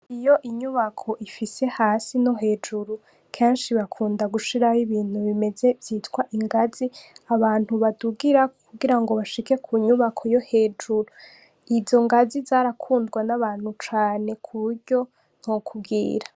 Iyo inyubako ifise hasi no hejuru, kenshi bakunda gushiraho ibintu bimeze vyitwa ingazi, abantu badugirako kugira ngo bashike ku nyubako yo hejuru. Izo ngazi zarakundwa n'abantu cane kuburyo ntokubwira.